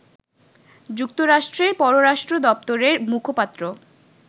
যুক্তরাষ্ট্রের পররাষ্ট্র দপ্তরের মুখপাত্র